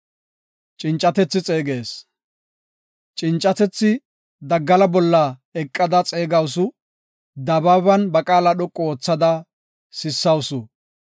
Cincatethi daggala bolla eqada xeegawusu; dabaaban ba qaala dhoqu oothada sissawusu.